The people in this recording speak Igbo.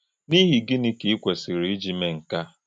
N’íhì̄ gị́nị̄ kà í kwesìrì̄ íjì mè̄ nkè à?